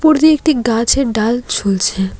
উপর দিয়ে একটি গাছের ডাল ঝুলছে।